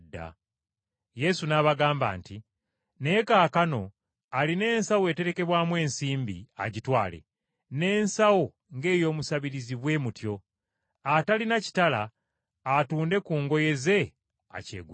Yesu n’abagamba nti, “Naye kaakano alina ensawo eterekebwamu ensimbi agitwale, n’ensawo ng’ey’omusabiriza bwe mutyo. Atalina kitala, atunde ku ngoye ze akyegulire!